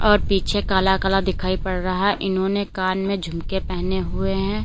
और पीछे काला काला दिखाई पड़ रहा है इन्होंने कान में झुमके पहने हुए हैं।